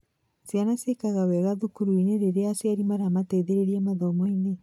Ciana ciĩkaga wega thukuru rĩrĩa aciari maramateithia mathomoinĩ